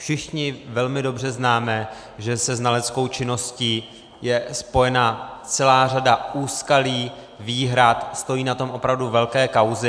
Všichni velmi dobře známe, že se znaleckou činností je spojena celá řada úskalí, výhrad, stojí na tom opravdu velké kauzy.